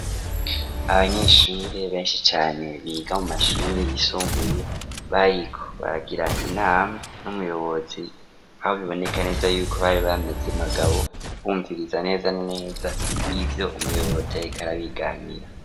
Abanyeshuri beshi cyane biga mu mashuri yisombuye bayikbagira inama n'umuyobozi abo biboneka neza yuko bari bameze magabo bumviriza neza neza ibyo umuyobotek arabiganira.